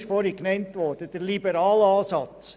Der erste ist der erwähnte liberale Ansatz.